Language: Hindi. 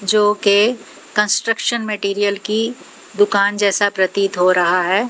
जोकि कंस्ट्रक्शन मटेरियल की दुकान जैसा प्रतीत हो रहा है।